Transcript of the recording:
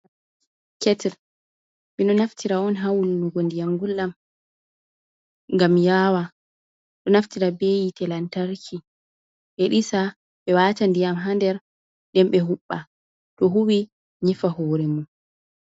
Ketel mindo naftira on ha wulunugo ndiyam ngullam ngam yawa. Ɗo naftira be hite lantarki be ɗisa be wata ndiyam ha nder ɗen be huɓɓa, to huwi nyifa hure mon.